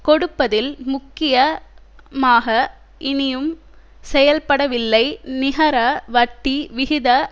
கொடுப்பதில் முக்கிய மாக இனியும் செயல்படவில்லை நிகர வட்டி விகித